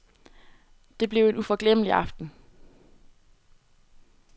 Det blev en uforglemmelig aften.